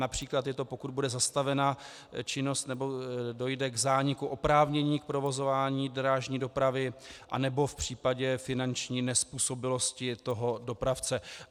Například je to, pokud bude zastavena činnost nebo dojde k zániku oprávnění k provozování drážní dopravy nebo v případě finanční nezpůsobilosti toho dopravce.